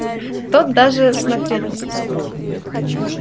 тот даже смотреть не стал